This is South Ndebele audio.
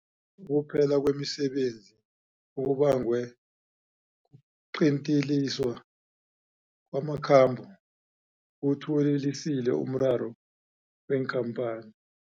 Ukuphela kwemisebenzi okubangwe kuqinteliswa kwamakhambo kuwuthuwelelisile umraro weenkhamphani.